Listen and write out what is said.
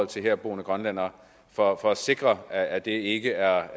til herboende grønlændere for at for at sikre at det ikke er